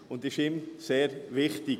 dies ist ihm sehr wichtig.